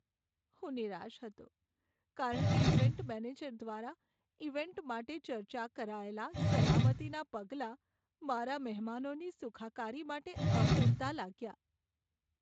હું નિરાશ હતો કારણ કે ઈવેન્ટ મેનેજર દ્વારા ઈવેન્ટ માટે ચર્ચા કરાયેલાં સલામતીનાં પગલાં મારા મહેમાનોની સુખાકારી માટે અપૂરતાં લાગ્યા.